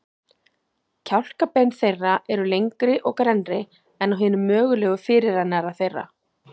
Kjálkabein þeirra eru lengri og grennri en á hinum mögulega fyrirrennara þeirra.